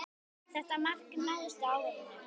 Þetta markmið náðist á árinu.